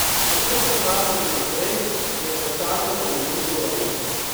Kako se obnašati naprej, je vprašanje za milijon dolarjev.